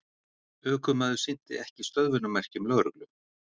Ökumaður sinnti ekki stöðvunarmerkjum lögreglu